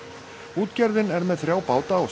útgerðin er með þrjá báta á